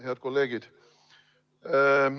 Head kolleegid!